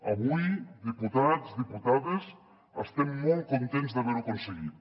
avui diputats diputades estem molt contents d’haver ho aconseguit